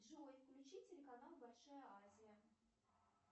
джой включи телеканал большая азия